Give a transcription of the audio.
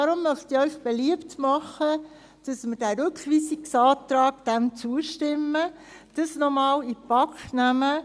Darum möchte ich Ihnen beliebt machen, dass wir dem Rückweisungsantrag zustimmen und dies nochmals in die BaK nehmen.